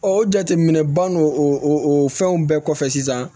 o jateminɛ ban n'o o fɛnw bɛɛ kɔfɛ sisan